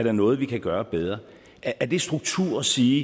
er noget vi kan gøre bedre er det struktur at sige